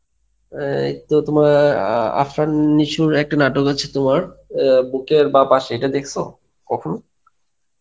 এই তো তোমার, আ আ~ আফরান নিসুর একটা নাটক আছে তোমার, আ বুকের বাঁপাশ এটা দেখশ কখনো?